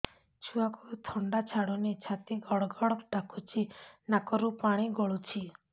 ଛୁଆକୁ ଥଣ୍ଡା ଛାଡୁନି ଛାତି ଗଡ୍ ଗଡ୍ ଡାକୁଚି ନାକରୁ ପାଣି ଗଳୁଚି